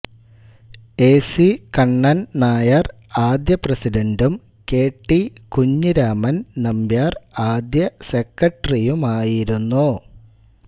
A C Kannan Nair ആദ്യ പ്രസിഡണ്ടും K T Kunhiraman Nambiar ആദ്യ സെക്രട്ടറിയുമായിരുന്നു